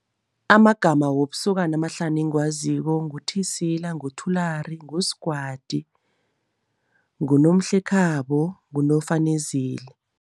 Amagama wobusokana amahlanu engiwaziko nguThisila, nguThulari, nguSgwadi, nguNomhlekhabo, nguNofanezile.